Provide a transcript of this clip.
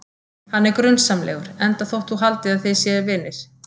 Hann er grunsamlegur, enda þótt þú haldir að þið séuð vinir.